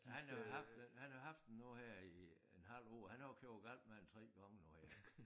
Han har haft den han har haft den nu her i en halv år han har jo kørt galt med den 3 gange nu i alt